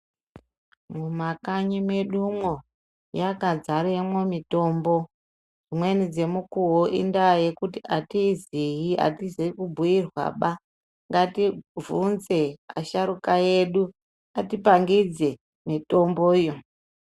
Mumakanyi medumwo yakadzaremwo mitombo, dzimweni dzemukuwo indaa yekuti atiiziyi, atizi kubhuyirwa baa. Ngativhunze asharuka edu atipangidze mutombo yo.